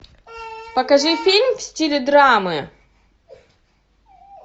покажи фильм в стиле драмы